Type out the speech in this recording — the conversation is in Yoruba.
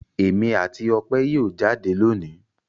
Èmi àti Ope yóò jáde lónìí.